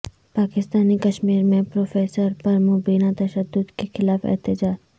پاکستانی کشمیر میں پروفیسر پر مبینہ تشدد کے خلاف احتجاج